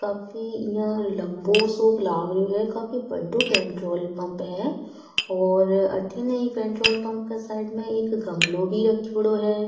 काफी लम्बो सो लग रहे है काफी बड़ो पेट्रोल पम्प है और अठीने ये पेट्रोल पम्प के साइड में एक गमलो भी रखेड़ो है।